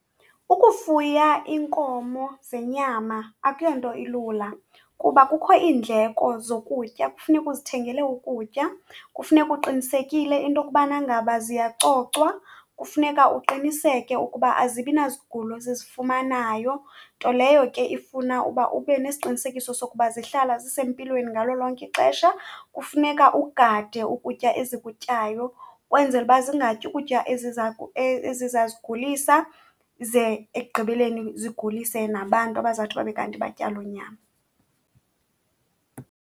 Ukufuya iinkomo zenyama akuyonto ilula, kuba kukho iindleko zokutya. Kufuneka uzithengele ukutya, kufuneka uqinisekile into yokubana ngaba ziyacocwa. Kufuneka uqiniseke ukuba azibi nazigulo ezizifumanayo, nto leyo ke ifuna uba ube nesiqinisekiso sokuba zihlala zisempilweni ngalo lonke ixesha. Kufuneka ugade ukutya ezikutyayo, ukwenzela uba zingatyi ukutya eziza , ezizazigulisa ze ekugqibeleni zigulise nabantu abazawuthi babe kanti batya loo nyama.